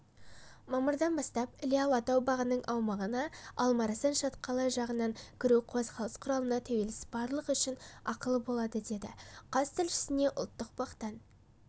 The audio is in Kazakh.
мамырдан бастап іле-алатау бағының аумағына алмаарасан шатқалы жағынан кіру қозғалыс құралына тәуелсіз барлығы үшін ақылы болады деді қаз тілшісіне ұлттық бақтан